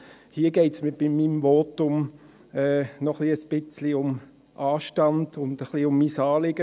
Hier geht es mir bei meinem Votum noch ein bisschen um Anstand und um mein Anliegen.